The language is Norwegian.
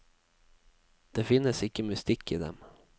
Det finnes ikke mystikk i dem.